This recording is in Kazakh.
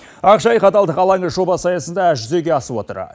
ақжайық адалдық алаңы жобасы аясында жүзеге асып отыр